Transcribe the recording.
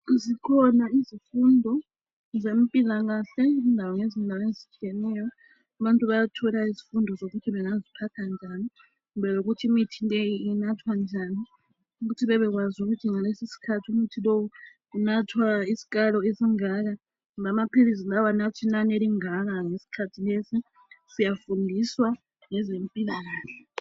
Zikhona izifundo zempilakahle indawo ngezindawo ezitshiyeneyo. Abantu bayathola izifundo zokuthi bangaziphatha njani, kumbe lokuthi imithi leyi inathwa njani. Ukuthi babekwazi ukuthi ngalesisikhathi umuthi lowu unathwa isikalo esingaka. Lamaphilisi lawa anathwa inani elingaka ngesikhathi lesi. Siyafundiswa ngezempilakahle